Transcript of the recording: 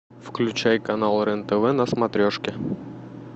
включай канал рен тв на смотрешке